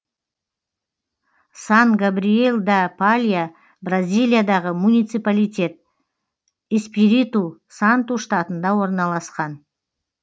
сан габриел да палья бразилиядағы муниципалитет эспириту санту штатында орналасқан